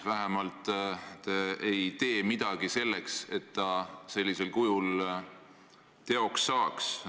Vähemalt te ei tee midagi selleks, et ta sellisel kujul teoks saaks.